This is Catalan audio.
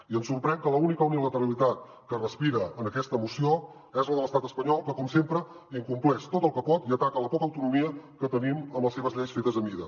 i ens sorprèn que l’única unilateralitat que es respira en aquesta moció és la de l’estat espanyol que com sempre incompleix tot el que pot i ataca la poca autonomia que tenim amb les seves lleis fetes a mida